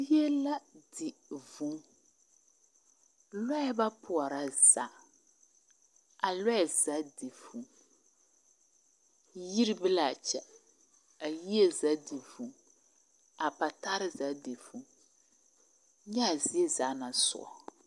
Zie la di vʋʋ lɔɛ ba pɔɔrɔ zaa a lɔɛ zaa di vʋʋ yiri be laa kyɛ a yie zaa di vʋʋ a patarre zaa di vʋʋ nyɛa zie zaa naŋ soɔ